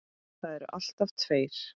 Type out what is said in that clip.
Það eru alltaf tveir